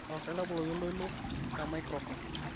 tapasali taboloki oltoilo lemaikirofon